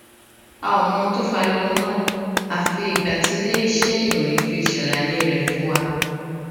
a ò mọ ohun tó fa ariwo náà àfi ìgbà tí iléiṣé ìròyìn fi ṣàlàyé rè fún wa